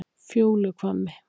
Fjóluhvammi